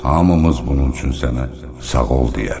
Hamımız bunun üçün sənə sağ ol deyərik.